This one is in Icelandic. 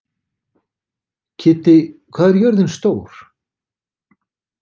Kiddi, hvað er jörðin stór?